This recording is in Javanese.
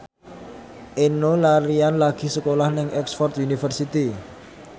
Enno Lerian lagi sekolah nang Oxford university